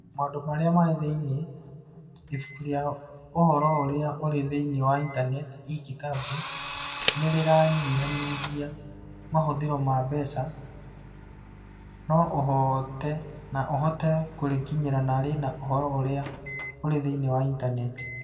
Maũndũ Marĩa Marĩ Thĩinĩ: ibuku rĩa ũhoro ũrĩa ũrĩ thĩinĩ wa Intaneti (e-Kitabu) nĩ rĩranyihanyihia mahũthĩro ma mbeca, no ũhote no ũhote kũrĩkinyĩra na rĩna ũhoro ũrĩa ũrĩ thĩinĩ wa Intaneti.